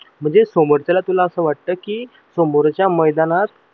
म्हणजे समोरच्या तुला असं वाटत कि समोरच्या मैदानात